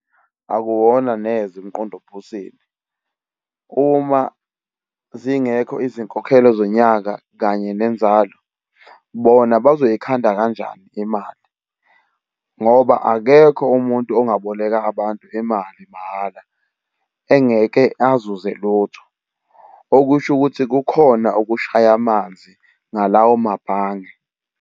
Akuwona neze umqondo ophusile. Uma zingekho izinkokhelo zonyaka kanye nenzalo, bona bazoyikhanda kanjani imali? Ngoba akekho umuntu ungaboleka abantu imali mahhala engeke azuze lutho, okusho ukuthi kukhona okushaya amanzi ngalawo mabhange.